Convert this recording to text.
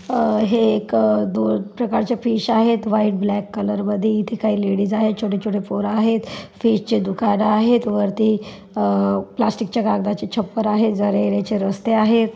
अ हे एक अ दोन प्रकारचे फिश आहेत व्हाइट ब्लॅक कलर मध्ये इथे काही लेडीज आहेत छोटे छोटे पोर आहेत फिश चे दुकान आहेत वरती अह प्लास्टिकच्या कागदाचे छप्पर आहे जाण्या येण्याचे रस्ते आहेत.